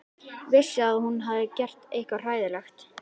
Vissi að hún hafði gert eitthvað hræðilegt.